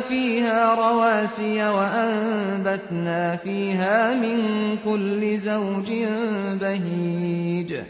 فِيهَا رَوَاسِيَ وَأَنبَتْنَا فِيهَا مِن كُلِّ زَوْجٍ بَهِيجٍ